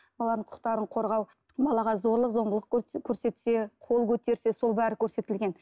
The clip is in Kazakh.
баланың құқықтарын қорғау балаға зорлық зомбылық көрсетсе қол көтерсе сол бәрі көрсетілген